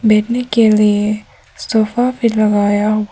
बैठने के लिए सोफा भी लगाया--